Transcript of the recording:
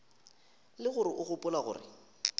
le gore o gopola gore